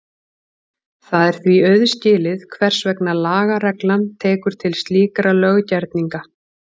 Það er því auðskilið hvers vegna lagareglan tekur til slíkra löggerninga.